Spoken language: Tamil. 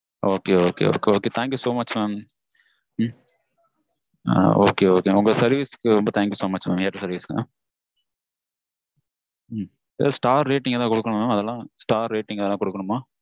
okay okay okay okay thank you so much mam. உங்க service க்கு ரொம்ப thank you so much mam airtel service க்கு. star rating ஏதாவது கொடுக்கணுமா mam? அதுலாம் star rating ஏதாவது கொடுக்கணுமா?